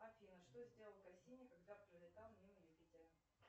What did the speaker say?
афина что сделал кассини когда пролетал мимо юпитера